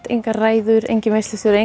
engar ræður enginn veislustjóri